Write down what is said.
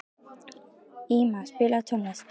Íma, spilaðu tónlist.